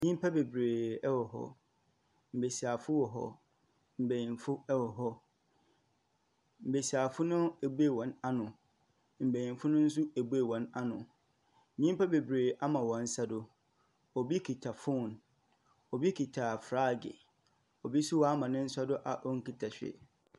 Enipa bebree ɛwɔ hɔ. Mmasiwafoɔ ɛwɔ hɔ. Mpanimfoɔ ɛwɔ hɔ. Mmasiwafoɔ no abue wɔn ano. Mpanimfoɔ no nso abue wɔn ano. Nipa bebree ama wɔn nsa so. Obi kita fon, obi kita flaage. Obi nso ama ne nsa so a ɔrenkita hwee.